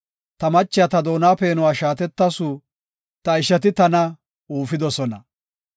Ta machiya ta doona peenuwa shaatetasu; ta ishati tana uufidosona.